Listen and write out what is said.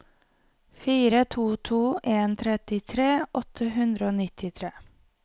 fire to to en trettitre åtte hundre og nittitre